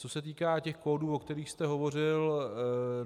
Co se týká těch kódů, o kterých jste hovořil.